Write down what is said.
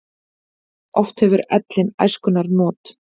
Oft hefur ellin æskunnar not.